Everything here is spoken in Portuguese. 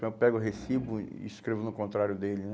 Então eu pego o recibo e escrevo no contrário dele né?